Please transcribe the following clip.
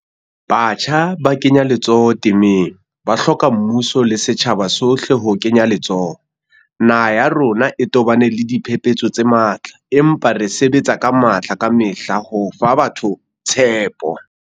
Batjha ba kenya letsoho temeng, ba hloka mmuso le setjhaba sohle ho kenya letsoho. Naha ya rona e tobane le diphephetso tse matla, empa re sebetsa ka matla kamehla ho fa batho tshepo.